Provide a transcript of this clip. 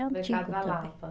Mercado da Lapa.